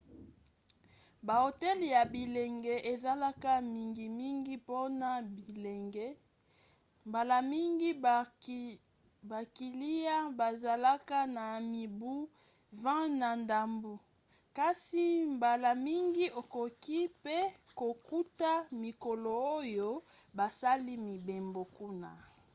ba hotel ya bilenge ezalaka mingimngi mpona bilenge – mbala mingi bakiliya bazalaka na mibu 20 na ndambu – kasi mbala mingi okoki pe kokuta mikolo oyo basali mibembo kuna